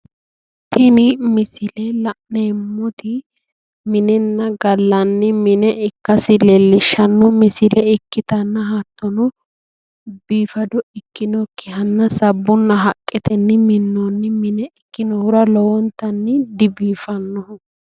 tini misile la'neemmoti minenna gallanni mine ikkasi leellishshanno misile ikitanna hattono biifaado ikkinokkihahanna sabbunna haqqetenni minnooni mine ikkinohura lowontanni dibiifannoho.